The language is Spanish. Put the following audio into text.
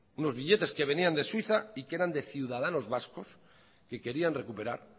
unos billetes que venían de suiza y que eran de ciudadanos vascos que querían recuperar